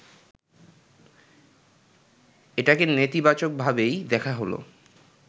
এটাকে নেতিবাচকভাবেই দেখা হল